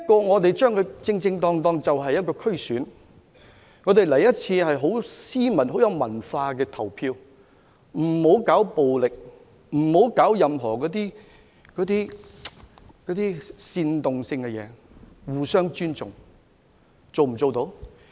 我們正正是將之作為一場區議會選舉，很斯文、很有文化的投一次票，而不要搞暴力，不要搞任何煽動，要互相尊重。